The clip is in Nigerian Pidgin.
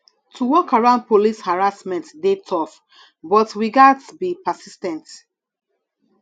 to work around police harassment dey tough but we gats be persis ten t